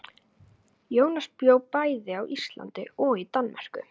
Jónas bjó bæði á Íslandi og í Danmörku.